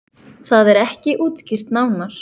Það er ekki útskýrt nánar.